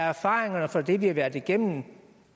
erfaringerne fra det vi har været igennem